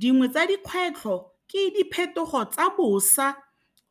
Dingwe tsa dikgwetlho ke diphetogo tsa bosa